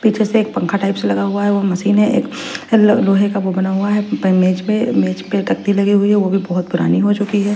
पीछे से एक पंखा टाइप से लगा हुआ है वो एक मशीन है एक लोहे का वो बना हुआ है पन मेज पे मेज पे तख्ती लगी हुई है वो भी बोहोत पुरानी हो चुकी है।